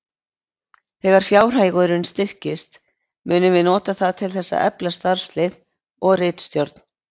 Þegar fjárhagurinn styrkist munum við nota það til þess að efla starfslið og ritstjórn.